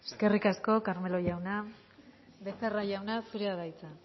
eskerrik asko carmelo jauna becerra jauna zurea da hitza